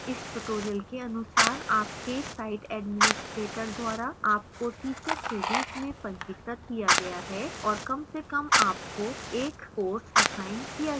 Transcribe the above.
इस tutorial के अनुसार आपके site administrator द्वारा आपको teacher के रूप में पंजीकृत किया गया है और कम से कम आपको एक course असाइन किया गया है